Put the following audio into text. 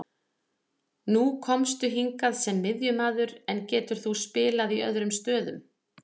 Nú komstu hingað sem miðjumaður, en getur þú spilað í öðrum stöðum?